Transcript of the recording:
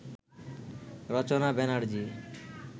Rachana Banerjee